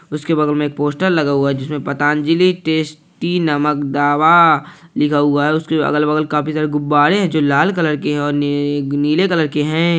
उसके बगल में एक पोस्टर लगा हुआ है जिस में पतंजलि टेस्टी नमक दावा लिखा हुआ है उसके अगल-बगल काफी सारे गुब्बारे हैं जो लाल कलर के है और ने नीले कलर के हैं।